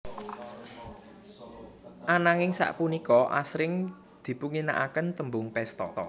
Ananging sapunika asring dipunginakaken tembung pesta